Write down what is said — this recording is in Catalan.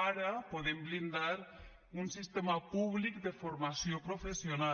ara podem blindar un sistema públic de formació professional